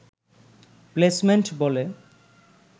placement বলে